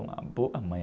Uma boa mãe.